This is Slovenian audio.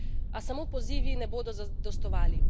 A samo pozivi ne bodo zadostovali.